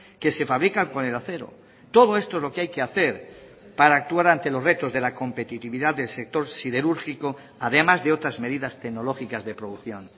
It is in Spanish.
que se fabrican con el acero todo esto es lo que hay que hacer para actuar ante los retos de la competitividad del sector siderúrgico además de otras medidas tecnológicas de producción